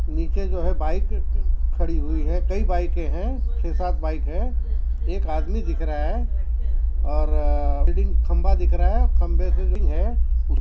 नीचे जो है बाइक खड़ी हुई है कई बाइके हैं छ सात बाइक है एक आदमी दिख रहा है और अ बिल्डिंग खंबा दिख रहा है खंभे डिंग है।